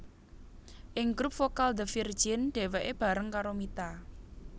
Ing grup vokal The Virgin dheweke bareng karo Mita